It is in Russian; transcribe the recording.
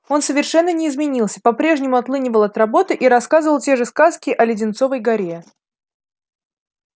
он совершенно не изменился по-прежнему отлынивал от работы и рассказывал те же сказки о леденцовой горе